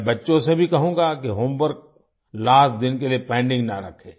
मैं बच्चों से भी कहूंगा कि होमवर्क लास्ट दिन के लिए पेंडिंग ना रखें